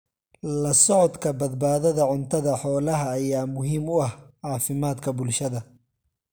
La socodka badbaadada cuntada xoolaha ayaa muhiim u ah caafimaadka bulshada.